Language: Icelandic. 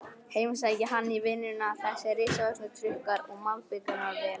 Heimsækja hann í vinnuna, þessir risavöxnu trukkar og malbikunarvélar.